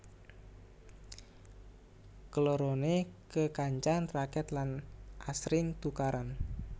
Kelorone kekancan raket lan asring tukaran